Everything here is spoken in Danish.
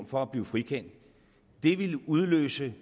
for at blive frikendt det ville udløse